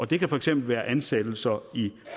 det kan for eksempel være ansættelser i